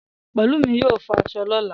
Pẹ̀lúmi yóò fọ aṣọ lọ̀la